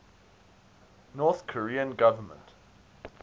north korean government